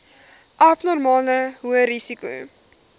abnormale hoë risiko